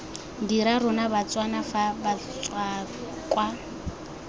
dira rona batswana fa batswakwa